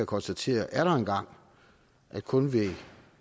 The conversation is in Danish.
konstatere at kun ved